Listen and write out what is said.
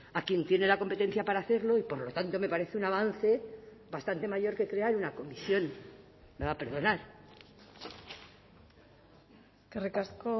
a quien tiene la competencia para hacerlo y por lo tanto me parece un avance bastante mayor que crear una comisión me va a perdonar eskerrik asko